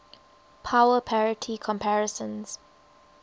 power parity comparisons